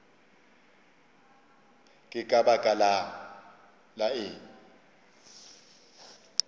ke ka baka la eng